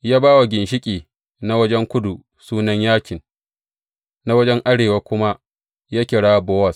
Ya ba wa ginshiƙi na wajen kudu sunan Yakin, na wajen arewa kuma ya kira Bowaz.